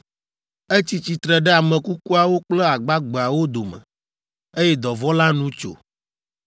Etsi tsitre ɖe ame kukuawo kple agbagbeawo dome, eye dɔvɔ̃ la nu tso,